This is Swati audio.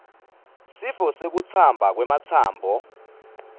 sifo sekutsamba kwematsambo